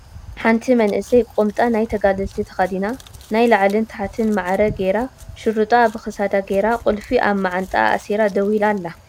ሓንቲ መንእሰይ ቁምጣ ናይ ተጋደልቲ ተከዲና ናይ ላዕልን ተሕትን ማዕረ ጌራ ሹሩጣ ኣብ ክሳዳ ጌራ ቁልፊ ኣብ ማዓንጥኣ ኣሲራ ደዉ ኢላ ኣላ።